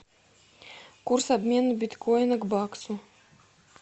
курс обмена биткоина к баксу